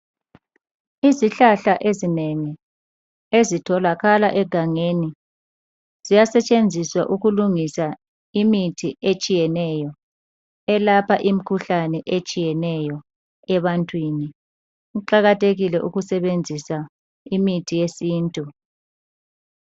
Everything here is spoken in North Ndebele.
Izihlahla ezinengi ezitholakala egangeni ziyasetshenziswa ukulungisa imithi etshiyeneyo elapha imikhuhlane etshiyeneyo ebantwini. Kuqakathekile ukusebenzisa imithi yesintu.